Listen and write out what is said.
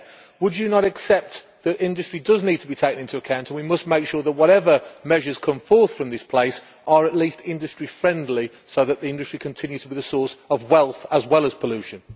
Would you not accept that industry needs to be taken into account, and that we must make sure that whatever measures come forth from this place are at least industry friendly so that industry continues to be a source of wealth as well as pollution?